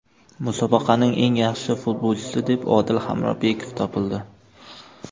Musobaqaning eng yaxshi futbolchisi deb Odil Hamrobekov topildi.